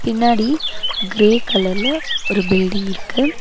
பின்னாடி கிரே கலர்ல ஒரு பில்டிங் இருக்கு.